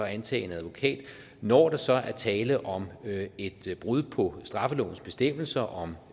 antage en advokat når der så er tale om et brud på straffelovens bestemmelser om